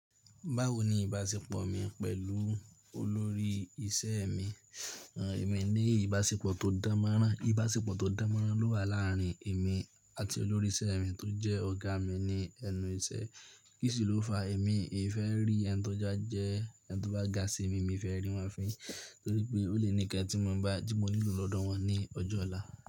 Báwo ni ìbáṣepọ̀ mi pẹ̀lú olórí iṣẹ́ mi? Ẹ̀mi ní ìbáṣepọ̀ tó dánmọ́nrán. Ìbáṣepọ̀ tó dánmọ́nrán ló wà láàárín èmi àti olórí iṣẹ́ mi tó jẹ́ ọ̀gá mi ní ẹnu iṣẹ́. Kísi ló fa èmi ì fẹ́ rí ẹni tó bá jẹ́ ẹni tó bá ga sí i mi, mi fẹ́ rí wọ́n fín, torí pé ó lè ní ǹkan tí mo nílò lọ́dọ̀ wọn ní ọjọ́ ọ̀la.